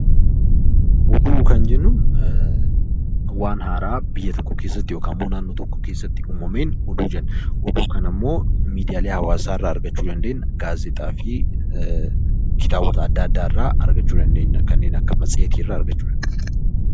Oduu kan jennuun waan haaraa naannoo tokko keessatti yookiin biyya tokko keessatti uumameen oduu jenna. Oduu kana immoo miidiyaalee hawaasaa irraa argachuu ni dandeenyu, gaazexaa fi kitaabota addaa addaa irraa argachuu dandeenya. Kanneen akka matseetii argachuu dandeenya.